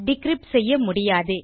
decrypt செய்ய முடியாது